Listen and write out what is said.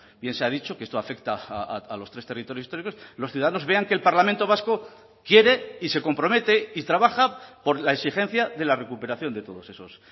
bien se ha dicho que esto afecta a los tres territorios históricos los ciudadanos vean que el parlamento vasco quiere y se compromete y trabaja por la exigencia de la recuperación de todos esos